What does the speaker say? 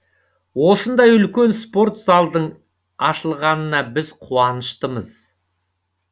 осындай үлкен спорт залдың ашылғанына біз қуаныштымыз